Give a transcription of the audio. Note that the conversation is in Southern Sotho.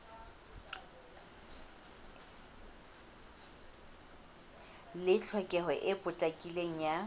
le tlhokeho e potlakileng ya